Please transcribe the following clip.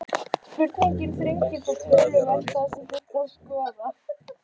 Spurningin þrengir þó töluvert það sem þyrfti að skoða.